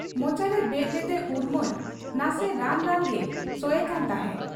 ᱢᱚᱪᱟᱨᱮ ᱵᱮᱫ ᱞᱮᱫᱮ ᱩᱨᱢᱟᱹᱞ ᱱᱟᱥᱮ ᱨᱟᱱ ᱨᱟᱱᱜᱮ ᱥᱚᱭᱮᱠᱟᱱ ᱛᱟᱦᱮᱸᱫ ᱾